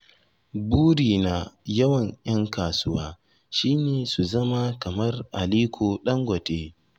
Buri na yawan 'yan kasuwa shi ne su zama kamar Aliko Ɗangote.